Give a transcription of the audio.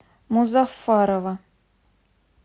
музаффарова